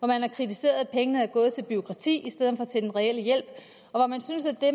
man har kritiseret at pengene er gået til bureaukrati i stedet for til den reelle hjælp og man synes at det